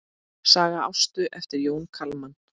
Saga Ástu eftir Jón Kalman.